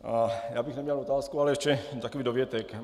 Já bych neměl otázku, ale spíše takový dovětek.